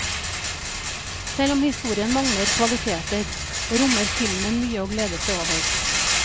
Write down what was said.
Selv om historien mangler kvaliteter, rommer filmen mye å glede seg over.